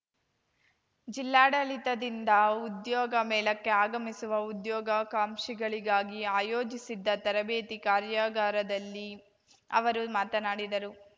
ಜಿಲ್ಲಾಡಳಿತದಿಂದ ಉದ್ಯೋಗ ಮೇಳಕ್ಕೆ ಆಗಮಿಸುವ ಉದ್ಯೋಗಾಕಾಂಕ್ಷಿಗಳಿಗಾಗಿ ಆಯೋಜಿಸಿದ್ದ ತರಬೇತಿ ಕಾರ್ಯಾಗಾರದಲ್ಲಿ ಅವರು ಮಾತನಾಡಿದರು